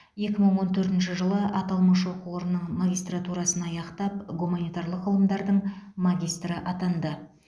екі мың он төртінші жылы аталмыш оқу орнының магистратурасын аяқтап гуманитарлық ғылымдардың магистрі атанды